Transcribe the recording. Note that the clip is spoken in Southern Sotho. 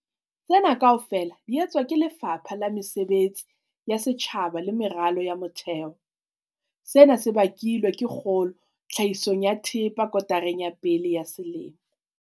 Tsena kaofela di etswa ke Lefapha la Mesebetsi ya Setjhaba le Meralo ya Motheo. Sena se bakilwe ke kgolo tlhahisong ya thepa kotareng ya pele ya selemo.